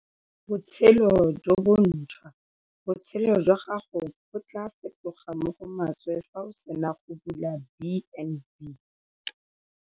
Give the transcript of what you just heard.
Botshelo jo bontšhwa - Botshelo jwa gago bo tla fetoga mo go maswe fa o sena go bula B and B.